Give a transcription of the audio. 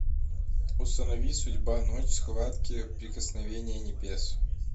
установи судьба ночь схватки прикосновение небес